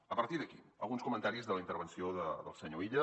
a partir d’aquí alguns comentaris de la intervenció del senyor illa